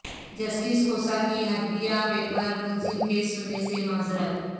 justice Khosa کی Hudaibiya paper mills case سننے سے معذرت